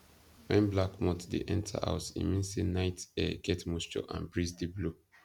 when black moths dey enter house e mean say night air get moisture and breeze dey blow